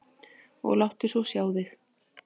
Og láttu svo sjá þig.